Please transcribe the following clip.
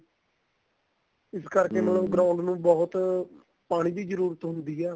ਇਸ ਕਰਕੇ ground ਨੂੰ ਬਹੁਤ ਪਾਣੀ ਦੀ ਜਰੂਰਤ ਹੁੰਦੀ ਏ